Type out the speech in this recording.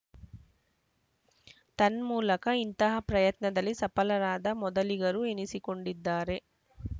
ತನ್ಮೂಲಕ ಇಂತಹ ಪ್ರಯತ್ನದಲ್ಲಿ ಸಪಲರಾದ ಮೊದಲಿಗರು ಎನ್ನಿಸಿಕೊಂಡಿದ್ದಾರೆ